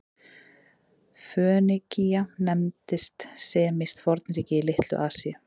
Fönikía nefndist semískt fornríki í Litlu-Asíu.